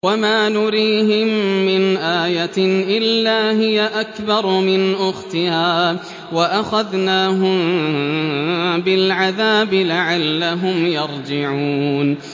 وَمَا نُرِيهِم مِّنْ آيَةٍ إِلَّا هِيَ أَكْبَرُ مِنْ أُخْتِهَا ۖ وَأَخَذْنَاهُم بِالْعَذَابِ لَعَلَّهُمْ يَرْجِعُونَ